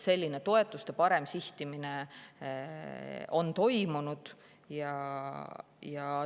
Selline toetuste parem sihtimine on toimunud.